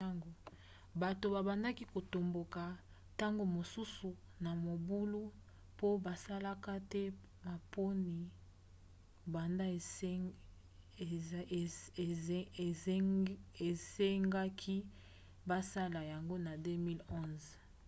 bato babandaki kotomboka ntango mosusu na mobulu po basalaka te maponi banda esengaki basala yango na 2011